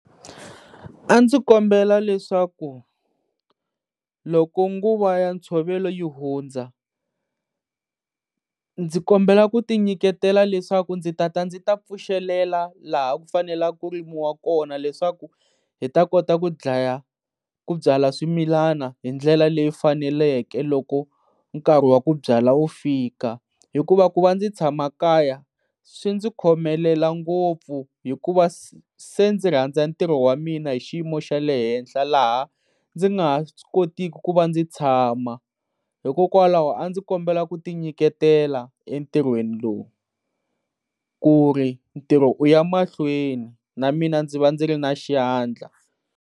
A ndzi kombela leswaku loko nguva ya ntshovelo yi hundza ndzi kombela kuti nyiketela leswaku ndzi ta ta ndzi ta pfuxelela laha ku fanela ku rimiwa kona leswaku hi ta kota ku byala swimilana hi ndlela leyi faneleke loko nkarhi wa ku byala wu fika. Hikuva ku va ndzi tshama kaya swi ndzi khomelela ngopfu hikuva se ndzi rhandza ntirho wamina hi xiyimo xa le henhla laha ndzi nga ha swi kotiku ku va ndzi tshama hikokwalaho a ndzi kombela ku ti nyiketela entirhweni lowu ku ri ntirho u ya mahlweni na mina ndzi va ndzi ri na xandla